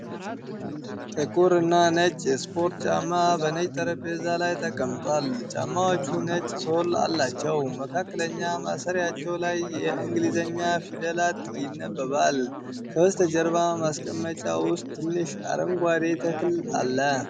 ጥቁር እና ነጭ የስፖርት ጫማ በነጭ ጠረጴዛ ላይ ተቀምጧል። ጫማዎቹ ነጭ ሶል አላቸው፤ መካከለኛ ማሰሪያቸው ላይ የእንግሊዝኛ ፊደላት ይነበባል። ከበስተጀርባ ማስቀመጫ ውስጥ ትንሽ አረንጓዴ ተክል አለ።